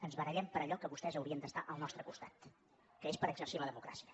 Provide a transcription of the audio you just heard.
ens barallem per allò que vostès haurien d’estar al nostre costat que és per exercir la democràcia